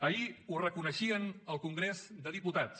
ahir ho reconeixien al congrés dels diputats